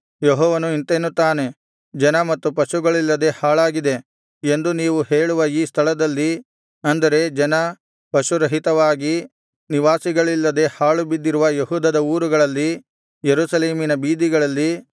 ಯೆಹೋವನು ಇಂತೆನ್ನುತ್ತಾನೆ ಜನ ಮತ್ತು ಪಶುಗಳಿಲ್ಲದೆ ಹಾಳಾಗಿದೆ ಎಂದು ನೀವು ಹೇಳುವ ಈ ಸ್ಥಳದಲ್ಲಿ ಅಂದರೆ ಜನ ಪಶುರಹಿತವಾಗಿ ನಿವಾಸಿಗಳಿಲ್ಲದೆ ಹಾಳುಬಿದ್ದಿರುವ ಯೆಹೂದದ ಊರುಗಳಲ್ಲಿ ಯೆರೂಸಲೇಮಿನ ಬೀದಿಗಳಲ್ಲಿ